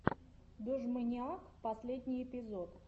дожмэниак последний эпизод